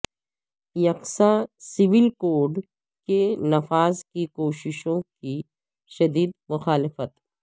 یکساں civil code کے نفاذ کی کوششوں کی شدید مخالفت